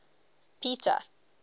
peter